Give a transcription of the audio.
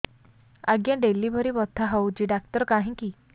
ଆଜ୍ଞା ଡେଲିଭରି ବଥା ହଉଚି ଡାକ୍ତର କାହିଁ କି